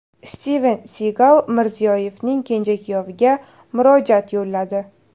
Stiven Sigal Mirziyoyevning kenja kuyoviga murojaat yo‘lladi .